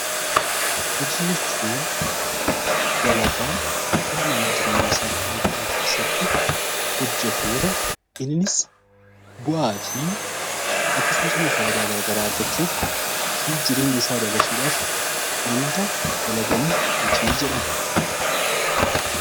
Hojii jechuun dalagaa ilmi namaa jireenya isaa guyyuu guyyuu keessatti hojjetu yoo ta'u, innis bu'aa fi akkasumas faayidaa garaa garaa irraa argachuu fi jireenya isaa dabarsuudhaaf wanta dalagamu hojii jedhama.